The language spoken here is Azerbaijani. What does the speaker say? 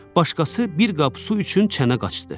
Başqası bir qab su üçün çənə qaçdı.